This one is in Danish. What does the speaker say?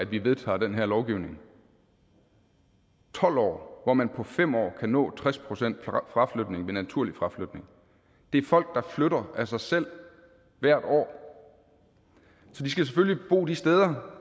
vi vedtager den her lovgivning tolv år hvor man på fem år kan nå tres procent fraflytning ved naturlig fraflytning det er folk der flytter af sig selv hvert år så de skal selvfølgelig bo de steder